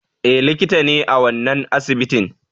Eh likita ne a wannan asibitin